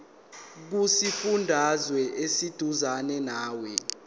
kusifundazwe oseduzane nawe